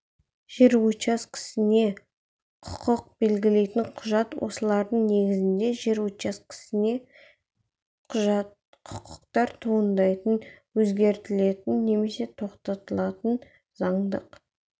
жер учаскесіне құқық белгілейтін құжат осылардың негізінде жер учаскесіне құқықтар туындайтын өзгертілетін немесе тоқтатылатын заңдық